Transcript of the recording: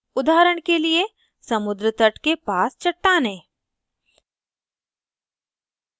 उदाहरण के लिए समुद्रतट के पास चट्टानें